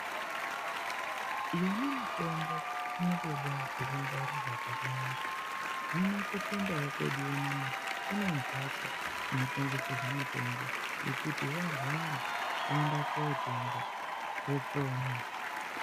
Yona mitombo, inotodawo pekungwarirwa pakanaka. Hino kuchindau kwedu unono, kune mphatso inotengeserwa mitombo yekuti warwara woenda kootenga wopona.